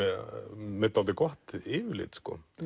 með dálítið gott yfirlit